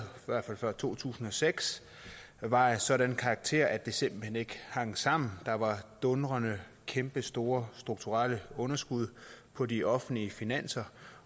før to tusind og seks var af en sådan karakter at det simpelt hen ikke hang sammen der var dundrende kæmpestore strukturelle underskud på de offentlige finanser